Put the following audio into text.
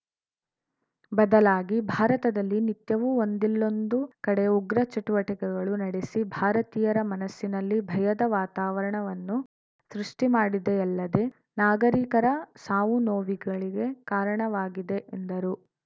ಬದಲಾಗಿ ಭಾರತದಲ್ಲಿ ನಿತ್ಯವೂ ಒಂದಿಲ್ಲೊಂದು ಕಡೆ ಉಗ್ರ ಚಟುವಟಿಕೆಗಳು ನಡೆಸಿ ಭಾರತೀಯರ ಮನಸ್ಸಿನಲ್ಲಿ ಭಯದ ವಾತಾವರಣವನ್ನು ಸೃಷ್ಟಿಮಾಡಿದೆಯಲ್ಲದೆ ನಾಗರಿಕರ ಸಾವುನೋವಿಗಳಿಗೆ ಕಾರಣವಾಗಿದೆ ಎಂದರು